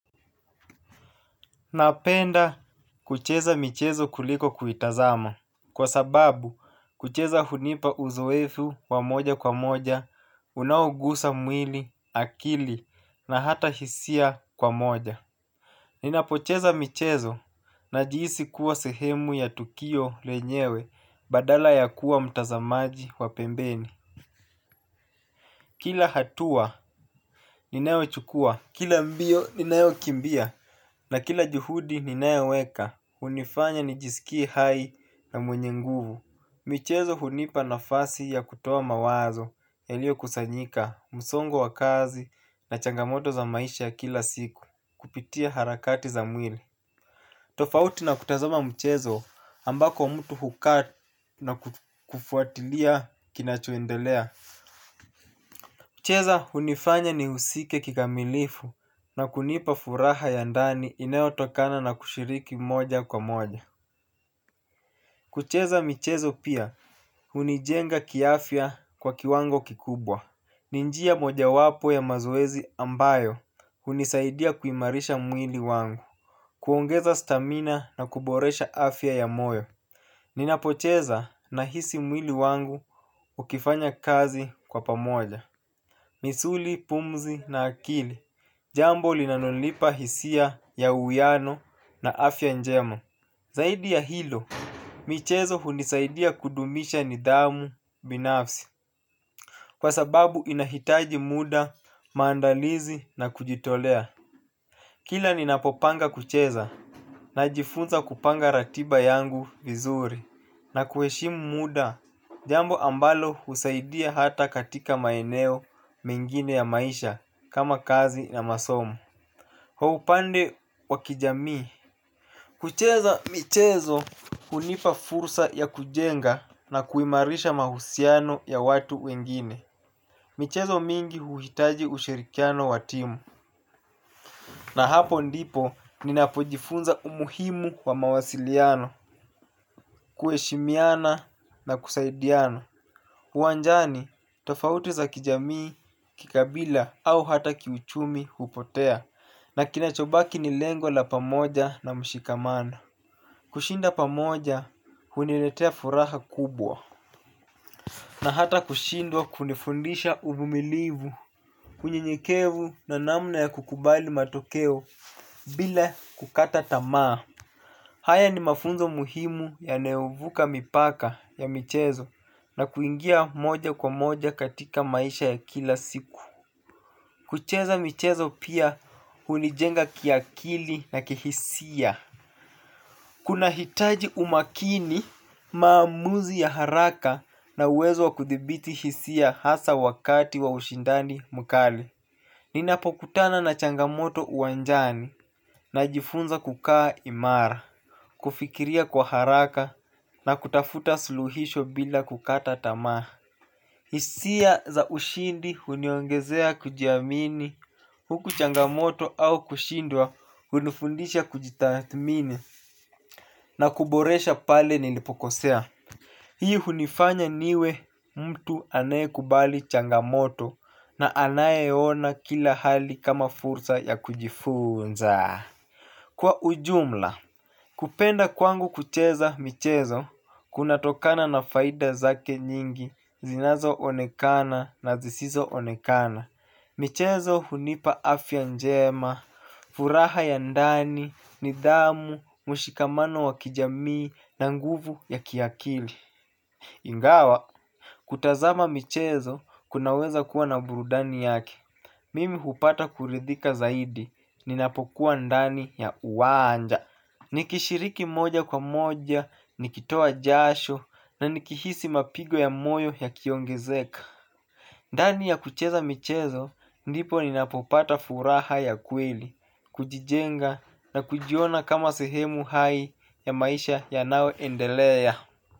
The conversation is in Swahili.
Napenda kucheza michezo kuliko kuitazama. Kwa sababu, kucheza hunipa uzoefu wa moja kwa moja unaogusa mwili, akili na hata hisia kwa moja. Ninapocheza michezo najihisi kuwa sehemu ya tukio lenyewe badala ya kuwa mtazamaji wa pembeni. Kila hatua ninayochukua, kila mbio ninayo kimbia na kila juhudi ninayoweka, hunifanya nijisikie hai na mwenye nguvu. Michezo hunipa nafasi ya kutoa mawazo yaliyokusanyika, msongo wa kazi na changamoto za maisha ya kila siku, kupitia harakati za mwili. Tofauti na kutazama mchezo, ambako mtu hukaa na kufuatilia kinachoendelea. Kucheza hunifanya ni husike kikamilifu na kunipa furaha ya ndani inayotokana na kushiriki moja kwa moja. Kucheza michezo pia hunijenga kiafya kwa kiwango kikubwa. Ni njia moja wapo ya mazoezi ambayo hunisaidia kuimarisha mwili wangu. Kuongeza stamina na kuboresha afya ya moyo. Ninapocheza nahisi mwili wangu ukifanya kazi kwa pamoja. Misuli, pumzi na akili jambo linanolipa hisia ya uwiano na afya njema. Zaidi ya hilo. Michezo hunisaidia kudumisha nidhamu binafsi kwa sababu inahitaji muda, maandalizi na kujitolea. Kila ninapopanga kucheza najifunza kupanga ratiba yangu vizuri. Na kuheshimu muda, jambo ambalo husaidia hata katika maeneo mengine ya maisha kama kazi na masomo. Kwa upande wa kijamii, kucheza michezo hunipa fursa ya kujenga na kuimarisha mahusiano ya watu wengine. Michezo mingi huhitaji ushirikiano wa timu. Na hapo ndipo ninapojifunza umuhimu wa mawasiliano, kuheshimiana na kusaidiana. Uwanjani, tofauti za kijamii, kikabila au hata kiuchumi hupotea. Na kinachobaki ni lengo la pamoja na mshikamano. Kushinda pamoja huniletea furaha kubwa na hata kushindwa kunifundisha uvumilivu kwa unyenyekevu na namna ya kukubali matokeo, bila kukata tamaa. Haya ni mafunzo muhimu yanayovuka mipaka ya michezo. Na kuingia moja kwa moja katika maisha ya kila siku. Kucheza michezo pia hunijenga kiakili na kihisia. Kunahitaji umakini, maamuzi ya haraka na uwezo wa kuthibiti hisia hasa wakati wa ushindani mkali. Ninapokutana na changamoto uwanjani najifunza kukaa imara. Kufikiria kwa haraka na kutafuta suluhisho bila kukata tamaa. Hisia za ushindi huniongezea kujiamini, huku changamoto au kushindwa hunifundisha kujitathmini. Na kuboresha pale nilipokosea hii hunifanya niwe mtu anayekubali changamoto na anayeona kila hali kama fursa ya kujifunza. Kwa ujumla, kupenda kwangu kucheza michezo, kunatokana na faida zake nyingi zinazoonekana na zisizoonekana. Michezo hunipa afya njema. Furaha ya ndani, nidhamu, mshikamano wa kijamii na nguvu ya kiakili. Ingawa, kutazama michezo kunaweza kuwa na burudani yake mimi hupata kuridhika zaidi, ninapokuwa ndani ya uwanja. Nikishiriki moja kwa moja, nikitoa jasho na nikihisi mapigo ya moyo yakiongezeka. Ndani ya kucheza michezo, ndipo ninapopata furaha ya kweli, kujijenga na kujiona kama sehemu hai ya maisha yanayoendelea.